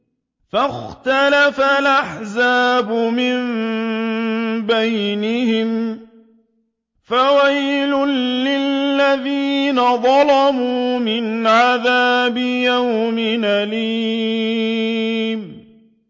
فَاخْتَلَفَ الْأَحْزَابُ مِن بَيْنِهِمْ ۖ فَوَيْلٌ لِّلَّذِينَ ظَلَمُوا مِنْ عَذَابِ يَوْمٍ أَلِيمٍ